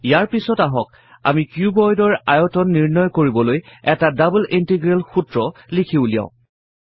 ইয়াৰ পাছত আহক আমি cuboid ৰ আয়তন নিৰ্ণয় কৰিবলৈ এটা ডাবল ইন্টিগ্ৰেল সূত্ৰ লিখি উলিয়াও